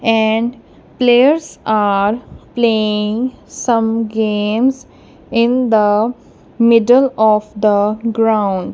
and players are playing some games in the middle of the ground.